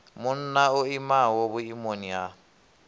munna o imaho vhuimoni ha